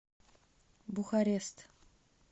бухарест